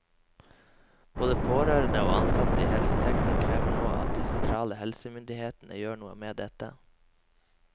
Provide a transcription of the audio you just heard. Både pårørende og ansatte i helsesektoren krever nå at de sentrale helsemyndighetene gjør noe med dette.